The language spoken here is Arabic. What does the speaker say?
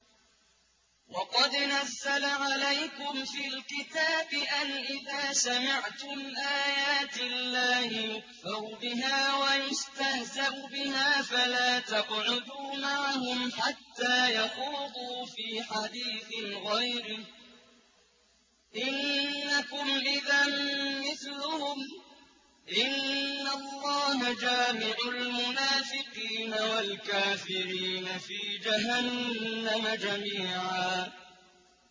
وَقَدْ نَزَّلَ عَلَيْكُمْ فِي الْكِتَابِ أَنْ إِذَا سَمِعْتُمْ آيَاتِ اللَّهِ يُكْفَرُ بِهَا وَيُسْتَهْزَأُ بِهَا فَلَا تَقْعُدُوا مَعَهُمْ حَتَّىٰ يَخُوضُوا فِي حَدِيثٍ غَيْرِهِ ۚ إِنَّكُمْ إِذًا مِّثْلُهُمْ ۗ إِنَّ اللَّهَ جَامِعُ الْمُنَافِقِينَ وَالْكَافِرِينَ فِي جَهَنَّمَ جَمِيعًا